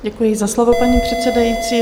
Děkuji za slovo, paní předsedající.